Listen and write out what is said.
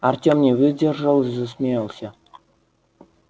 артём не выдержал и засмеялся